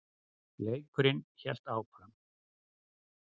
Leikurinn hélt áfram.